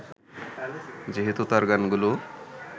যেহেতু তাঁর গানগুলো